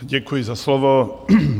Děkuji za slovo.